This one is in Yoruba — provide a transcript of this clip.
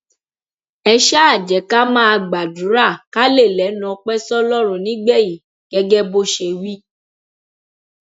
ẹ ṣáà jẹ ká máa gbàdúrà ká lè lẹnu ọpẹ sọlọrun nígbẹyìn gẹgẹ bó ṣe wí